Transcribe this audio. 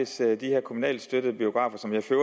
sted i de her kommunalt støttede biografer som jeg for